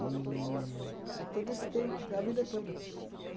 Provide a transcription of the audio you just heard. A todo esse tempo, a vida toda.